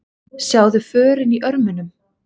Sjáðu förin í örmunum.